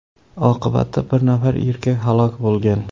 Oqibatda bir nafar erkak halok bo‘lgan.